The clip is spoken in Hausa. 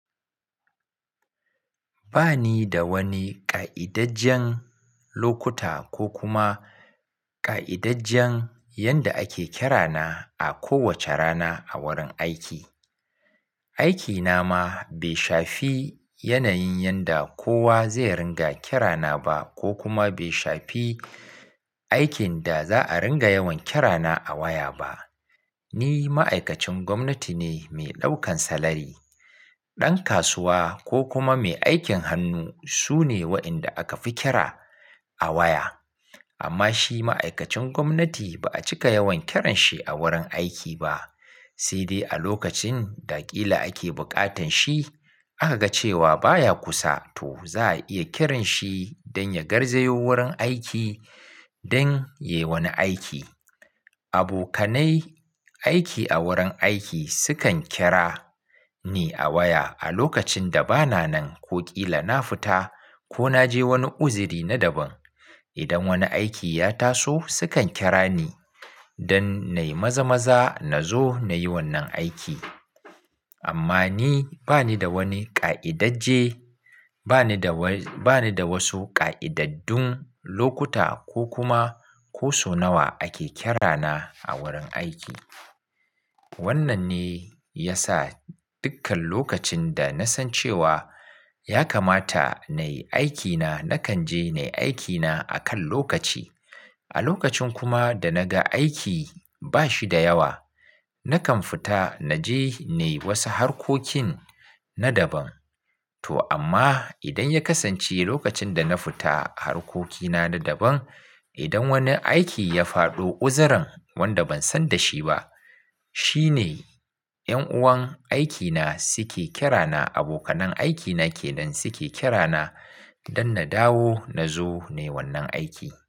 Ba ni da wani ƙa'idajjen lokuta ko kuma ƙa'idajjen yanda ake kira na a kowace rana a wurin aiki. Aikina ma bai shafi yanayin yanda kowa zai ringa kira na ba ko kuma bai shafi aikin da za a ringa yawan kira na a waya ba. Ni ma'aikacin gwamnati ne mai ɗaukan salari. Dan kasuwa ko kuma mai aikin hannu sune wa'inda aka fi kira a waya. Amma shi ma'aikacin gwamnati ba'a cika yawan kiran shi a wurin aiki ba. Sai dai a lokacin da ƙila ake buƙatan shi, aka ga cewa baya kusa to za a iya kiran shi don ya garzayo wurin aiki don yayi wani aiki. Abokanai aiki a wurin aiki su kan kira ni a waya a lokacin da bana nan ko ƙila na fita ko na je wani uziri na daban. Idan wani aiki ya taso su kan kira ni don na yi maza-maza na zo na yi wannan aiki. Amma ni ba ni da wani ƙa'idajje, ba ni da wa-- ba ni da wasu ƙa'idaddun lokuta ko kuma koso nawa ake kira na a wurin aiki. Wannan ne ya sa dukkan lokacin da na san cewa ya kamata na yi aikina, nakan je na yi aikina a kan lokaci. A lokacin kuma da na ga aiki ba shi da yawa, nakan fita na je na yi wasu harkokin na daban. To amma idan ya kasance lokacin da na fita a harkokina na daban, idan wani aiki ya faɗo uzaran wanda ban san da shi ba, shi ne 'yan'uwan aikina su ke kira na. Abokanan aiki na ke nan su ke kira na don na dawo na zo na yi wannan aiki.